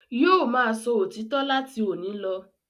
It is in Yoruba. Yóò máa sọ òtítọ́ láti òní lọ.